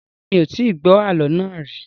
Rárá, mi ò tí gbọ́ àálọ́ náà rì